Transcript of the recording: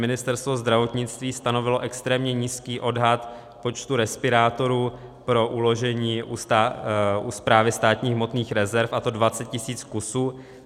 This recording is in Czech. Ministerstvo zdravotnictví stanovilo extrémně nízký odhad počtu respirátorů pro uložení u Správy státních hmotných rezerv, a to 20 tisíc kusů.